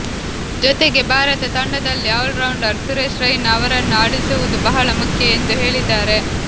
ಜೊತೆಗೆ ಭಾರತ ತಂಡದಲ್ಲಿ ಆಲ್ರೌಂಡರ್ ಸುರೇಶ್ ರೈನಾ ಅವರನ್ನು ಆಡಿಸುವುದು ಬಹಳ ಮುಖ್ಯ ಎಂದು ಹೇಳಿದ್ದಾರೆ